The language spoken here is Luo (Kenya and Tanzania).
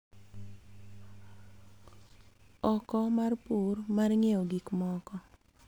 Oko mar pur mar ng�iewo gik moko.